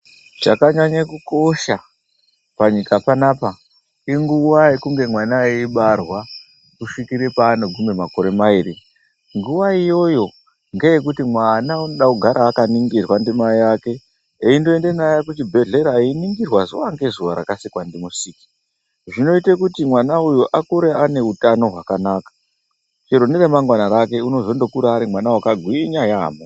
Chakanyanye kukosha panyika panapa inguwa yekunge mwana eibarwa kusvikire paanogume makore mairi. Nguwa iyoyo ngeyekuti mwana inoda kugara akaningirwa ndimai eke eindoende naye kuzvibhedhera einingirwa zuwa ngezuwa rakasikwa ndimusiki. Zvinoite kuti mwana uyu akure ane utano hwakanaka, chero neramangwana rake unozotokura ari mwana wakagwinya yaampho.